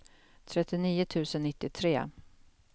trettionio tusen nittiotre